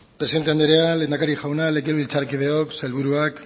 presidente andrea lehendakari jauna legebiltzarkideok sailburuak